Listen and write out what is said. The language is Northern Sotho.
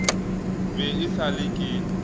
be e sa le ke